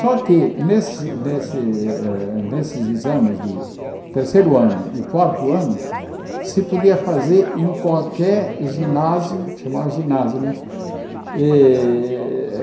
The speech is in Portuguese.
Só que nesse nesse eh nesses exames de terceiro ano e quarto ano, se podia fazer em qualquer ginásio, chamava ginásio, né? Eh